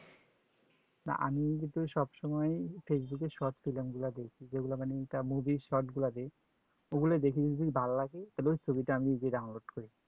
আমি কিন্তু সবসময় facebook এ short film গুলা দেখি যে গুলা মানে ইটা movie short ও গুলা দেখি ভাল্লাগে তাহলে আমি ওই ছবিতা download করি